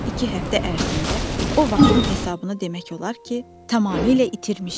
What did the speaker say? Son iki həftə ərzində o vaxtın hesabını demək olar ki, tamamilə itirmişdi.